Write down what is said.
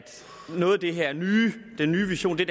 noget af det her nye den nye vision